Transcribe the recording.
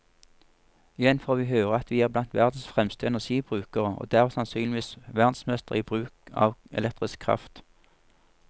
Igjen får vi høre at vi er blant verdens fremste energibrukere, og derved sannsynligvis verdensmestre i bruk av elektrisk kraft.